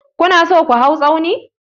Ku na so ku hau tsauni?